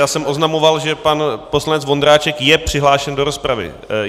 Já jsem oznamoval, že pan poslanec Vondráček je přihlášen do rozpravy.